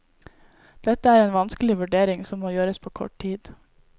Dette er en vanskelig vurdering som må gjøres på kort tid.